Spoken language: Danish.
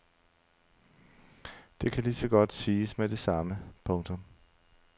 Det kan ligeså godt siges med det samme. punktum